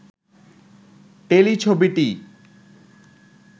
টেলিছবিটি